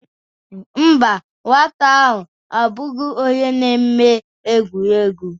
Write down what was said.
mba, nwata ahụ abụghị onye na-eme egwuregwu